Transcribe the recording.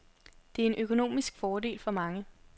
Det er en økonomisk fordel for mange.